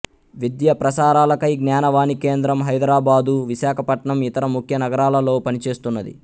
విద్యా ప్రసారాలకై జ్ఞానవాణి కేంద్రం హైదరాబాదు విశాఖపట్నం ఇతర ముఖ్య నగరాలలో పనిచేస్తున్నది